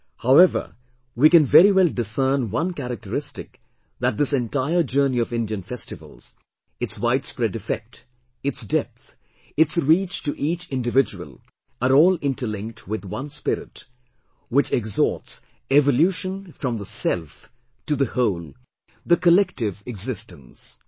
However, we can very well discern one characteristic that this entire journey of Indian festivals, its widespread effect, its depth, its reach to each individual are all interlinked with one spirit which exhorts evolution from the 'self' to the 'whole', the 'collective existence'